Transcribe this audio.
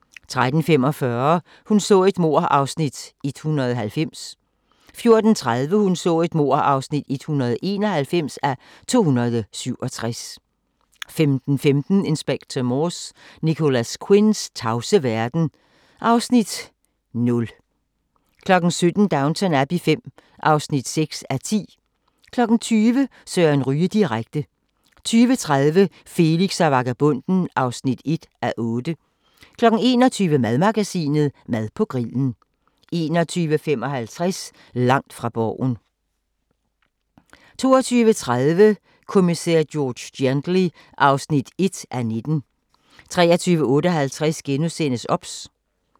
13:45: Hun så et mord (190:267) 14:30: Hun så et mord (191:267) 15:15: Inspector Morse: Nicholas Quinns tavse verden (Afs. 0) 17:00: Downton Abbey V (6:10) 20:00: Søren Ryge direkte 20:30: Felix og vagabonden (1:8) 21:00: Madmagasinet: Mad på grillen 21:55: Langt fra Borgen 22:30: Kommissær George Gently (1:19) 23:58: OBS *